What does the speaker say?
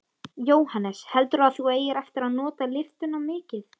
Jóhannes: Heldurðu að þú eigir eftir að nota lyftuna mikið?